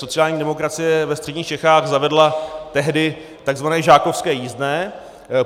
Sociální demokracie ve středních Čechách zavedla tehdy tzv. žákovské jízdné.